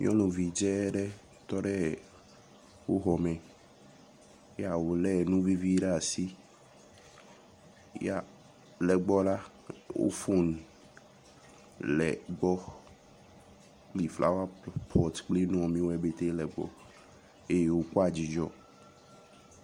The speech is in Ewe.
nyɔnuvi dzɛɖɛ tɔɖɛ woxɔmɛ ya wòle nuvivi ɖe asi ya le gbɔ la wó fon le gbɔ yi flawa pot kpli nuwɔnuwoe pɛtɛ lɛ gbɔ eye wo kpoa dzidzɔ